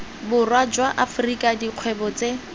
borwa jwa afrika dikgwebo tse